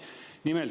Nimelt …